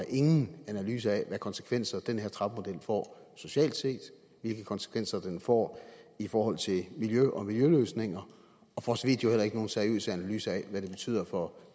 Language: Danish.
ingen analyser af konsekvenser den her trappemodel får socialt set hvilke konsekvenser den får i forhold til miljø og miljøløsninger og for så vidt heller ikke nogen seriøse analyser af hvad den betyder for